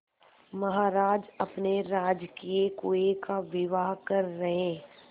महाराज अपने राजकीय कुएं का विवाह कर रहे